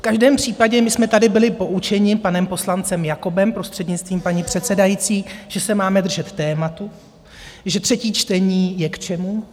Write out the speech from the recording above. V každém případě, my jsme tady byli poučeni panem poslancem Jakobem, prostřednictvím paní předsedající, že se máme držet tématu, že třetí čtení je k čemu?